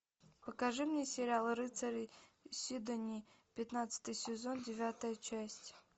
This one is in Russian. покажи мне сериал рыцари сидонии пятнадцатый сезон девятая часть